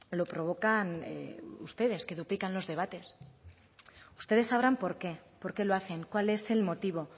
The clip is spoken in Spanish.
lo provocan ustedes que duplican los debates ustedes sabrán por qué por qué lo hacen cuál es el motivo